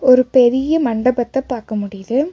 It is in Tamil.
ஒரு பெரிய மண்டபத்த பாக்க முடியுது.